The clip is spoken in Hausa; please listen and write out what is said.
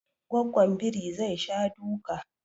Gwaggon biri zai sha duka